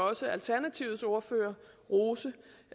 også alternativets ordfører rose